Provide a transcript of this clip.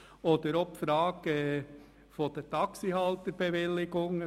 Auch stellt sich die Frage nach der Taxihalterbewilligung.